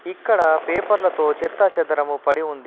ఇక్కడ పేపర్లతో చెత్తాచెదరము పడి ఉంది.